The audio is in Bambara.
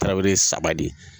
Tarawele ye saba de ye.